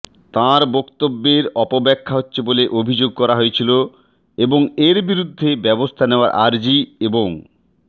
তাঁর বক্তব্যের অপব্যাখ্যা হচ্ছে বলে অভিযোগ করা হয়েছিল এবং এর বিরুদ্ধে ব্যবস্থা নেওয়ার আর্জি এবং